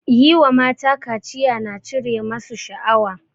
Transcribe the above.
Yi wa mata kaciya na cire masu shaawa